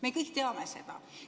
Me kõik teame seda.